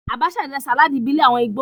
Abacha jẹ́ sàláàdì ìbílẹ̀ àwọn Ìgbò